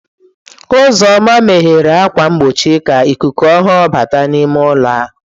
Uzoma meghere ákwà mgbochi ka ikuku ọhụrụ bata n'ime ụlọ ahụ.